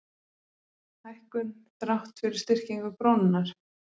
Hækkun þrátt fyrir styrkingu krónunnar